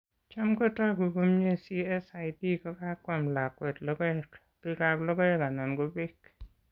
Cham kotoku komnyie CSID kokamwam lakwet logoek, bekab logoek anan ko beek.